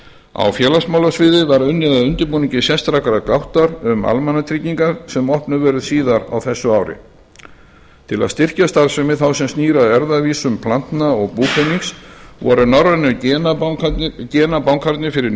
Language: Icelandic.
á félagsmálasviði var unnið að undirbúningi sérstakrar gáttar um almannatryggingar sem opnuð verður síðar á þessu ári til að styrkja starfsemi þá sem snýr að erfðavísum plantna og búpenings voru norrænu genabankarnir fyrir